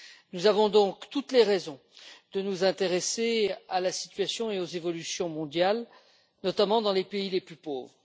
Nous avons donc toutes les raisons de nous intéresser à la situation et aux évolutions mondiales, notamment dans les pays les plus pauvres.